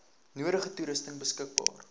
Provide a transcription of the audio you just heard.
nodige toerusting beskikbaar